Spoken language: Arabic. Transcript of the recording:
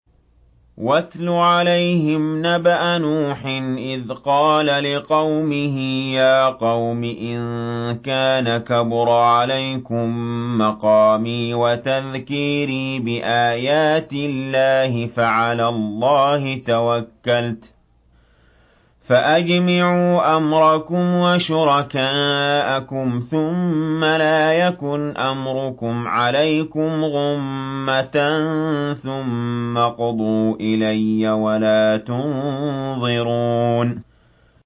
۞ وَاتْلُ عَلَيْهِمْ نَبَأَ نُوحٍ إِذْ قَالَ لِقَوْمِهِ يَا قَوْمِ إِن كَانَ كَبُرَ عَلَيْكُم مَّقَامِي وَتَذْكِيرِي بِآيَاتِ اللَّهِ فَعَلَى اللَّهِ تَوَكَّلْتُ فَأَجْمِعُوا أَمْرَكُمْ وَشُرَكَاءَكُمْ ثُمَّ لَا يَكُنْ أَمْرُكُمْ عَلَيْكُمْ غُمَّةً ثُمَّ اقْضُوا إِلَيَّ وَلَا تُنظِرُونِ